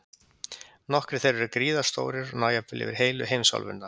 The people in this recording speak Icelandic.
Nokkrir þeirra eru gríðarstórir og ná jafnvel yfir heilu heimsálfurnar.